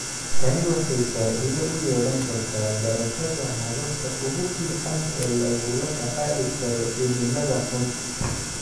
Tani waxay faa'iido u yeelan kartaa barashada hababka ugu fiican ee lagula tacaali karo cimilada xun.